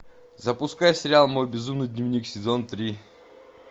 запускай сериал мой безумный дневник сезон три